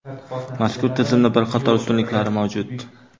Mazkur tizimning bir qator ustunliklari mavjud.